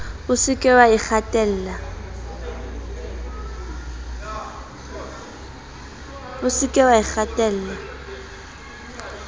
o se ke wa ikgatella